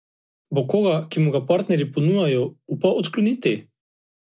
Bo koga, ki mu ga partnerji ponujajo, upal odkloniti?